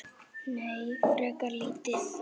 Nei, frekar lítið.